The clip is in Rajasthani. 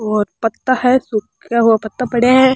और पत्ता है सूखा हुआ पत्ता पड़या है।